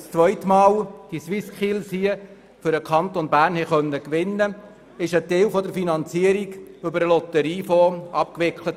Als wir die SwissSkills zum zweiten Mal in den Kanton Bern holen konnten, wurde ein Teil der Finanzierung über den Lotteriefonds abgewickelt.